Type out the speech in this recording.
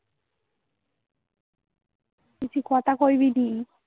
বেশি কতা কইবুনি নি